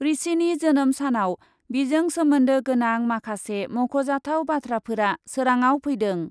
ऋषिनि जोनोम सानआव बिजों सोमोन्दो गोनां माखासे मख'जाथाव बाथ्राफोरा सोराङाव फैदों।